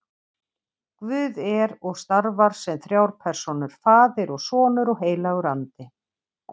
Guð er og starfar sem þrjár persónur, faðir og sonur og heilagur andi.